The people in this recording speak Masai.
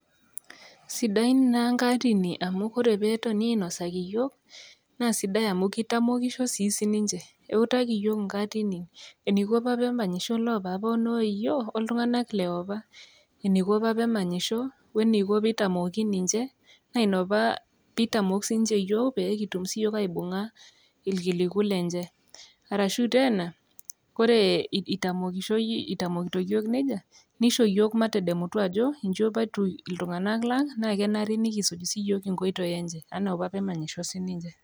Sidain naa inkaatini amu ore pee etoni ainosaki iyiok, naa sidai amu keitamokisho naa siininche . Eutaki yiok inkaatini eneiko opa pee pemanyisho loo papa o yieyio, o iltung'ana le opa. Eneiko opa pee pemanyisho, eneiko opa pee eitamoki ninche, naa Ina opa pee eitamoki sii ninche iyiok pee aibung'a iilkiliku lenye. Arashu Teena ore eitamokishoi, eitamokito iyiok neija, neisho iyiok matedemtu aajo inchi opa etiu iltung'ana lang naa enare sii iyiok neikisuj inkoitoi enche anaa opa pee pemanyisho sii ninche.